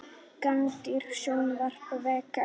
Gagnrýndi stjórnvöld vegna kjaramála